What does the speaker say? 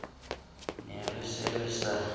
ne re se re sa